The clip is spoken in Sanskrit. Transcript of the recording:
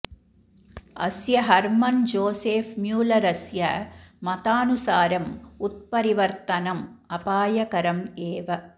अस्य हर्मन् जोसेफ् म्यूल्लरस्य मतानुसारम् उत्परिवर्तनम् अपायकरम् एव